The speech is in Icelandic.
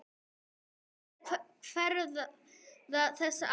En hver verða þessi áhrif?